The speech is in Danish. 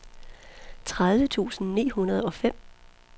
tredive tusind ni hundrede og fem